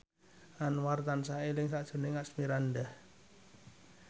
Anwar tansah eling sakjroning Asmirandah